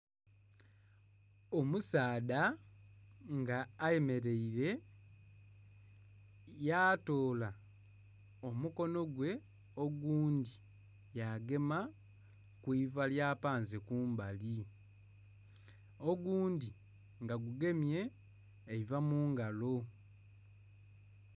Omusaadha nga ayemeleire yatoola omukono gwe ogundhi yagema ku iva lyapanze kumbali, ogundhi nga gugemye eiva mu ngalo.